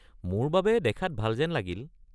মোৰ বাবে দেখাত ভাল যেন লাগিল।